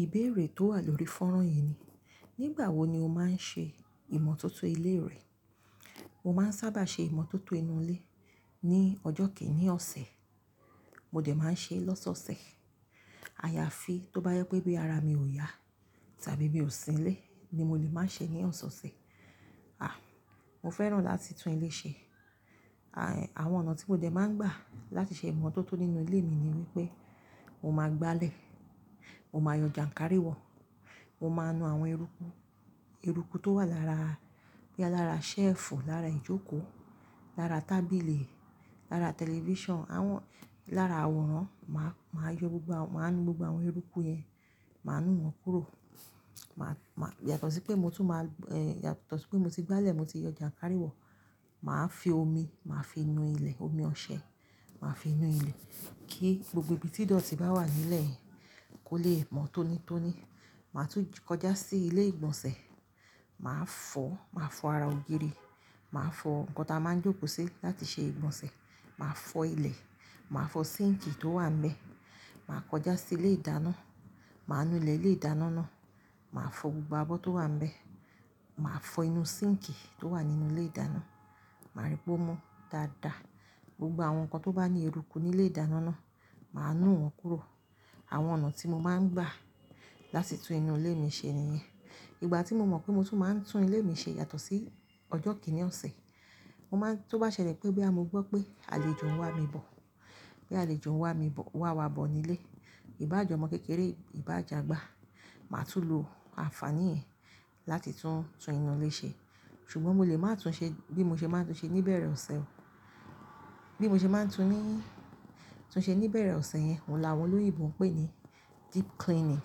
Ìbéèrè tó wà lórí fọ́nrán yìí ni, "Nígbàwo ni o máa ń ṣe ìmọ̀tótó ilé rẹ?" Mo máa ń sábà ṣe ìmọ̀tótó inú ilé ní ọjọ́ kìíní ọ̀sẹ̀. Mo dẹ̀ máa ń ṣe lọ́sọ̀ọ̀sẹ̀. Ayafi tó bá yẹ pé bí ara mi ò yá tàbí bí ò sí nílé ni mo lè máa ṣe ní ọ̀sọ̀ọ̀sẹ̀. À, mo fẹ́ràn láti tún ilé ṣe. À, àwọn ọ̀nà tí mo jẹ̀ máa ń gbà láti ṣe ìmọ̀tótó nínú ilé mi ni wípé mo máa gbálẹ̀, mo máa yọ jàǹkárí wọ, mo máa nu àwọn eruku, eruku tó wà lára, bí i lára ṣẹ́ẹ̀fù, lára ìjókòó, lára tábìlì, lára tẹlifíṣàn, àwọn-- lára àwòrán. Màá, màá yọ gbogbo àwọn, màá nu gbogbo àwọn eruku yẹn. Màá nu wọ́n kúrò. Màá, má-- yàtọ̀ sí pé mo tún máa-- eh, yàtọ̀ sí pé mo ti gbálẹ̀, mo ti yọ jàǹkárí wọ, màá fi omi, màá fi nu ilẹ̀, omi ọṣẹ, màá fi nu ilẹ̀ kí gbogbo ibi tí idọ̀tí bá wà nílẹ̀ kó le mọ́ tónítóní. Màá tún kọjá sí ilé ìgbọ̀nsẹ̀. Màá fọ, màá fọ ara ògiri, màá fọ nǹkan tí a máa ń jókòó sí láti ṣe ìgbọ̀nsẹ̀. Màá fọ ilẹ̀, màá fọ síǹkì tó wà ń bẹ. Màá kọjá sí ilé ìdáná, màá nu ilẹ̀ ilé ìdáná náà, màá fọ gbogbo abọ́ tó wà ń bẹ. Màá fọ inú síǹkì tó wà nínú ilé ìdáná. Màá rípò mọ́ dáadáa gbogbo àwọn nǹkan tó bá ní eruku ní ilé ìdáná náà. Màá nu wọ́n kúrò. Àwọn ọ̀nà tí mo máa ń gbà láti tún inú ilé mi ṣe ni yẹn. Ìgbà tí mo mọ̀ pé mo tún máa ń tún ilé mi ṣe yàtọ̀ sí ọjọ́ kìíní ọ̀sẹ̀, mo máa ń-- tó bá ṣẹlẹ̀ pé bí a mo gbọ́ pé àlejò ń wá mi bọ̀, pé àlejò ń wá mi bọ̀, wá wá bọ̀ nílé, ìbá àjọ̀mọ́ kékeré, ìbá àjagba, màá tún lo àǹfàní yẹn láti tún, tún inú ilé ṣe. Ṣùgbọ́n mo lè máa tún ṣe bí mo ṣe máa ń tún ṣe ní ìbẹ̀rẹ̀ ọ̀sẹ̀. Bí mo ṣe máa ń tún ní, tún ṣe ní ìbẹ̀rẹ̀ ọ̀sẹ̀ yẹn, wọ́n la wọ́n lórí ìbọn pé ni deep cleaning.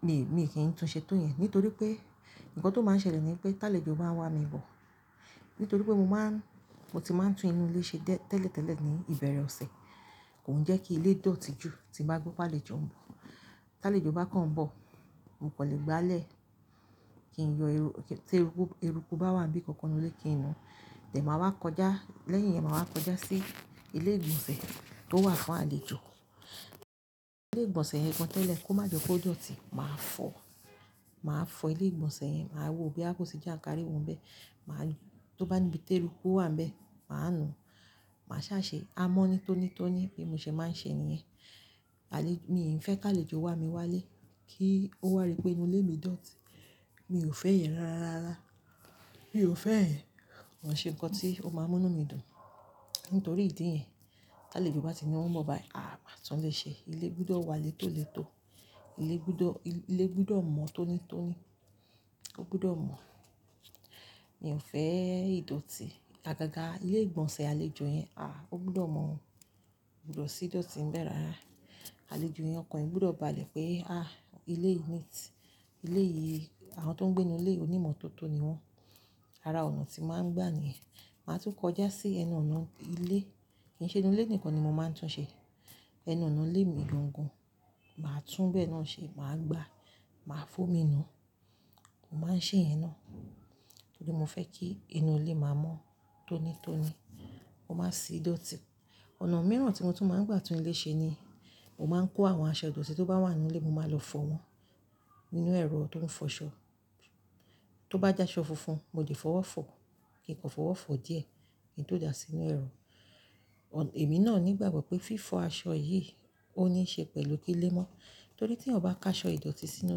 Èmi, èmi kì í tún ṣe tó yẹn nítorí pé nǹkan tó máa ń ṣẹlẹ̀ ni pé tálèjò máa ń wá mi bọ̀. Nítorí pé mo máa ń, mo ti máa ń tún inú ilé ṣe tẹ́lẹ̀tẹ́lẹ̀ ní ìbẹ̀rẹ̀ ọ̀sẹ̀, kò ń jẹ́ kí ilé dọ̀tí ju. Tí mo bá gbọ́ pé àlejò ń bọ̀, tálèjò bá kàn ń bọ̀, mo kò lè gbálẹ̀ kí n yọ eru-- kí-- tí eruku, eruku bá wà níbi kankan nínú ilé kí n nu. Tìẹ̀ màá wá kọjá, lẹ́yìn yẹn màá wá kọjá sí ilé ìgbọ̀nsẹ̀ tó wà fún àlejò. Ilé ìgbọ̀nsẹ̀ yen gan tẹ́lẹ̀ kó má jọ kó dọ̀tí. Màá fọ, màá fọ ilé ìgbọ̀nsẹ̀ yẹn. Màá wo bí a kò ṣe jàǹkárí wọ́ nbẹ. Màá nu-- tó bá níbi tí eruku ó wà ń bẹ, màá nu. Màá ṣa ṣe amọ́ni tónítóní bí mo ṣe máa ń ṣe ni yẹn. Àlé-- mi ò fẹ́ kí àlejò wá mi wá ilé kí ó wàrí pé inú ilé mi dọ̀tí. Mi ò fẹ́ ẹ̀ yen rárárárá. Mi ò fẹ́ ẹ̀. Ko n ṣe nǹkan tí ó máa mú inu mí dùn. Nítorí ìdí yẹn, tálèjò bá ti ni wọ́n ń bọ̀ báyìí, à, màá tún lè ṣe. Ilé gbọ́dọ̀ wà létólètó. Ilé gbọ́dọ̀, ilé gbọ́dọ̀ mọ́ tónítóní. Ó gbọ́dọ̀ mọ́. Mi ò fẹ́ ìdọ̀tí. Agaga ilé ìgbọ̀nsẹ̀ àlejò yẹn, à, ó gbọ́dọ̀ mọ́. Ko gbọ́dọ̀ sí í dọ̀tí ń bẹ rárá. Àlejò yẹn ọkàn rẹ̀ gbọ́dọ̀ bá àlè pé, "À, ilé yìí niiti, ilé yìí àwọn tó ń gbé nínú ilé onímọ̀tótó ni wọ́n." Ara ọ̀nà tí mo máa ń gbà niyen. Màá tún kọjá sí ẹnu ọ̀nà ilé. Kì í ṣe inú ilé nìkan ni mo máa ń tún ṣe. Ẹnu ọ̀nà ilé mi gan gan. Màá túbẹ̀ ẹ́ náà ṣe, màá gbá, màá fún mí nu. Mo máa ń ṣe ẹ̀ náà nítorí mo fẹ́ kí inú ilé máa mọ́ tónítóní, kó má sì í dọ̀tí. Ọ̀nà mìíràn tí mo tún máa ń gbà tún ilé ṣe ni mo máa ń kó àwọn aṣọ ìdọ̀tí tó bá wà nínú ilé, mo máa lọ fọ wọn nínú ẹ̀rọ tó ń fọṣọ. Tó bá jẹ́ aṣọ funfun, mo lè fọ̀wọ́ fọ̀ kí n kọ̀ fọ̀wọ́ fọ̀ díẹ̀ kíi n tó dà á sínú ẹ̀rọ. Ọ̀n-- èmi náà ò ní ìgbàgbọ́ pé fífo aṣọ yìí ó níí ṣe pẹ̀lú kí ilé mọ́. Nítorí tí ọba ká aṣọ ìdọ̀tí sínú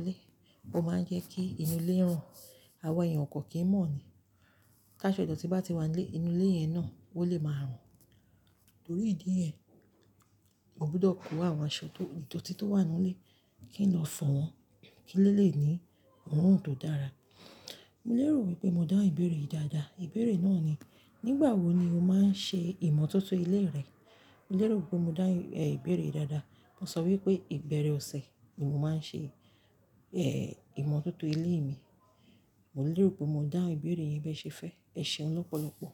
ilé, ó máa ń jẹ́ kí inú ilé rùn. Àwọn èèyàn kọ̀ọ̀kan kì í mọ̀ ní. Ta aṣọ ìdọ̀tí bá ti wà nílé, inú ilé yẹn náà ó lè máa rùn. Nítorí ìdí yẹn, mo gbọ́dọ̀ kó àwọn aṣọ tó, ìdọ̀tí tó wà nínú ilé kí n lọ fọ̀ wọ́n kí ilé lè ní òórùn tó dára. Mo lérò wípé mo dá ìbéèrè yìí dáadáa. Ìbéèrè náà ni, "Nígbàwo ni o máa ń ṣe ìmọ̀tótó ilé rẹ?" Mo lérò wípé mo dá ìbéèrè yìí dáadáa. Mo sọ wípé ìbẹ̀rẹ̀ ọ̀sẹ̀ ni mo máa ń ṣe, eh, ìmọ̀tótó ilé mi. Mo lérò wípé mo dáhun ìbéèrè yẹn bẹ́ẹ̀ ṣe fẹ́. Ẹ ṣeun lọ́pọ̀lọ́pọ̀.